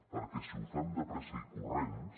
perquè si ho fem de pressa i corrents